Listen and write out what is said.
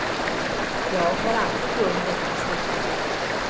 Jag har alltid beundrat hans låtar.